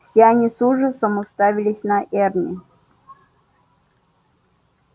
все они с ужасом уставились на эрни